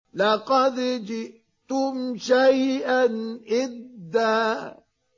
لَّقَدْ جِئْتُمْ شَيْئًا إِدًّا